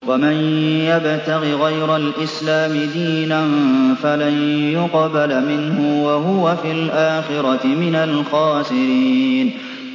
وَمَن يَبْتَغِ غَيْرَ الْإِسْلَامِ دِينًا فَلَن يُقْبَلَ مِنْهُ وَهُوَ فِي الْآخِرَةِ مِنَ الْخَاسِرِينَ